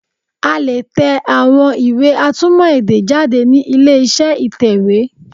A lè tẹ àwọn iwé atúmọ̀ èdè jáde ni ilé iṣẹ́ ìtẹ̀wé